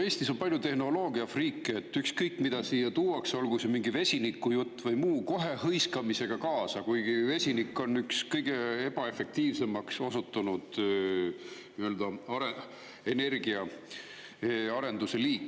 Eestis on palju tehnoloogiafriike, nii et ükskõik, mida siia tuuakse, olgu see mingi vesinikujutt või muu, kohe minnakse sellega hõiskamisega kaasa, kuigi vesinik on üks kõige ebaefektiivsemaks osutunud energiaarenduse liik.